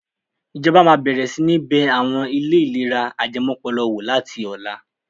Ìjọba máa bẹ̀rẹ̀ sí ní bẹ àwọn ilé ìlera ajẹmọ́pọlọ wò láti ọ̀la.